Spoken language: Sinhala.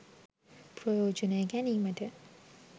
ප්‍රයෝජනය ගැනීමට